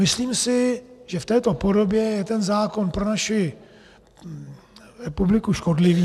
Myslím si, že v této podobě je tento zákon pro naši republiku škodlivý.